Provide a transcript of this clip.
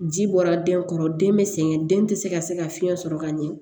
Ji bɔra den kɔrɔ den bɛ sɛgɛn den tɛ se ka se ka fiɲɛ sɔrɔ ka ɲɛ